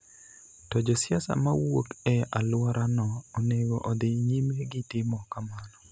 to josiasa ma wuok e alworano onego odhi nyime gi timo kamano,